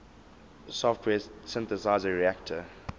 software synthesizer reaktor